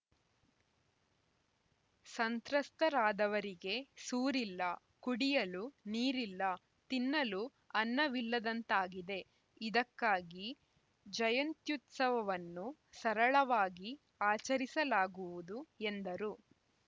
ಸಂತ್ರಸ್ತರಾದವರಿಗೆ ಸೂರಿಲ್ಲ ಕುಡಿಯಲು ನೀರಿಲ್ಲ ತಿನ್ನಲು ಅನ್ನವಿಲ್ಲದಂತಾಗಿದೆ ಇದಕ್ಕಾಗಿ ಜಯಂತ್ಯುತ್ಸವನ್ನು ಸರಳವಾಗಿ ಆಚರಿಸಲಾಗುವುದು ಎಂದರು